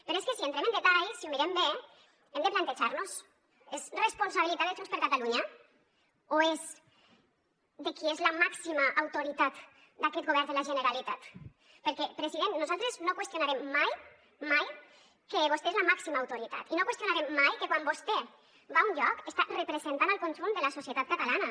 però és que si entrem en detall si ho mirem bé hem de plantejar nos és responsabilitat de junts per catalunya o és de qui és la màxima autoritat d’aquest govern de la generalitat perquè president nosaltres no qüestionarem mai mai que vostè és la màxima autoritat i no qüestionarem mai que quan vostè va un lloc està representant el conjunt de la societat catalana